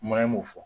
m'o fɔ